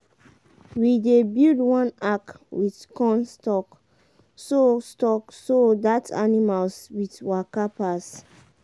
we dey build one arch with corn stalk so stalk so that animals with waka pass.